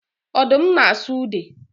Odum na asụ ude